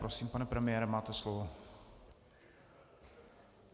Prosím, pane premiére, máte slovo.